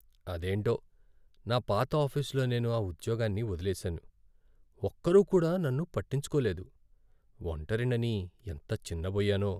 అదేంటో, నా పాత ఆఫీసులో నేను ఆ ఉద్యోగాన్ని వదిలేశాను. ఒక్కరూ కూడా నన్ను పట్టించుకోలేదు. ఒంటరినని ఎంత చిన్నబోయానో.